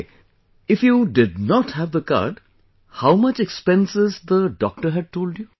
Ok, if you did not have the card, how much expenses the doctor had told you